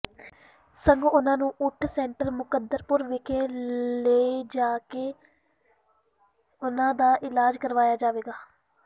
ਸਗੋਂ ਉਨ੍ਹਾਂ ਨੂੰ ਓਟ ਸੈਂਟਰ ਮੁੰਕਦਪੁਰ ਵਿਖੇ ਲਿਜਾ ਕੇ ਉਨ੍ਹਾਂ ਦਾ ਇਲਾਜ ਕਰਵਾਇਆ ਜਾਵੇਗਾ